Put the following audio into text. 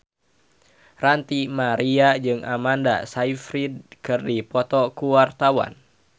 Ranty Maria jeung Amanda Sayfried keur dipoto ku wartawan